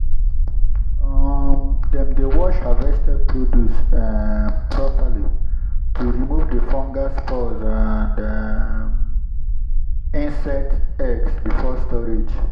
um dem dey wash harvested produce um properly to remove fungal spores and um insect eggs before storage.